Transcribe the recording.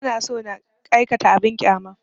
Ba na so na aikata abin ƙyama